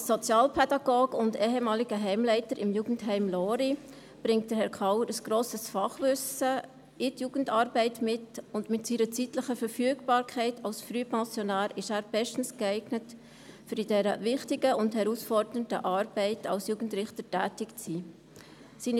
Als Sozialpädagoge und ehemaliger Heimleiter des Jugendheims Lory bringt Herr Kauer ein grosses Fachwissen in der Jugendarbeit mit, und mit seiner zeitlichen Verfügbarkeit als Frühpensionär ist er bestens geeignet, in dieser wichtigen und herausfordernden Arbeit als Jugendrichter tätig zu sein.